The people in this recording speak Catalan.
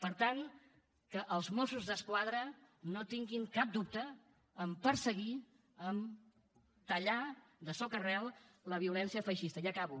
per tant que els mossos d’esquadra no tinguin cap dubte a perseguir a tallar de socarel la violència feixista ja acabo